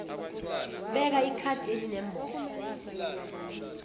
beka ikhadi elinembobo